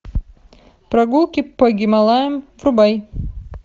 прогулки по гималаям врубай